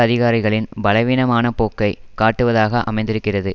அதிகாரிகளின் பலவீனமான போக்கை காட்டுவதாக அமைந்திருக்கிறது